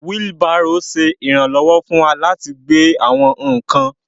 Wheelbarrow ṣe iranlọwọ fún wà latí gbé àwọn nkán.